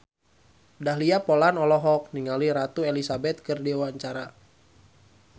Dahlia Poland olohok ningali Ratu Elizabeth keur diwawancara